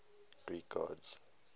greek gods